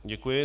Děkuji.